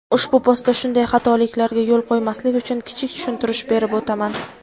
ushbu postda shunday xatoliklarga yo‘l qo‘ymaslik uchun kichik tushuntirish berib o‘taman.